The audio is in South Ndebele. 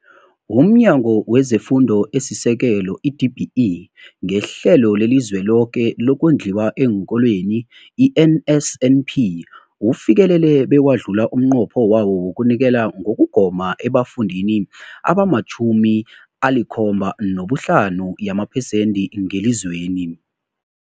UmNyango wezeFundo esiSekelo, i-DBE, ngeHlelo leliZweloke lokoNdliwa eenKolweni, i-NSNP, ufikelele bewadlula umnqopho wawo wokunikela ngokugoma ebafundini abama-75 yamaphesenthi ngelizweni.